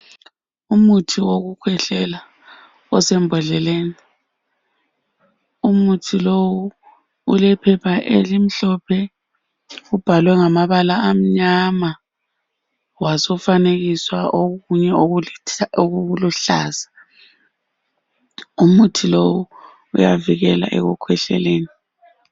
Umuthi wokukhwehlela osembodleleni umuthi lowo ulephepha elimhlophe ubhalwe ngamabala amnyama wabusufanekiswa okunye okuluhlaza umuthi lowo uyavikela ekukhwehleleni